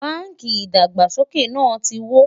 bánkì ìdàgbàsókè nà tí wò